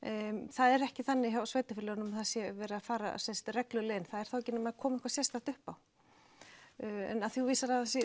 það er ekki þannig hjá sveitarfélögunum að það sé verið að fara reglulega inn það er þá ekki nema það komi eitthvað sérstakt upp á en af því þú vísar aðeins í